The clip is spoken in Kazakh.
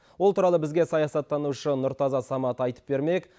ол туралы бізге саясаттанушы нұртаза самат айтып бермек